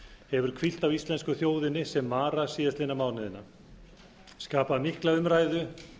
hefur hvílt á íslensku þjóðinni sem mara síðastliðnum mánuði skapað mikla umræðu